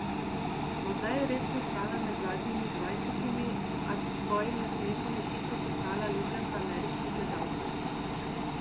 Morda je res pristala med zadnjimi dvajsetimi, a s svojim nasmehom je hitro postala ljubljenka ameriških gledalcev.